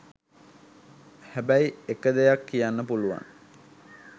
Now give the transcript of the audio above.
හැබැයි එක දෙයක් කියන්න පුළුවන්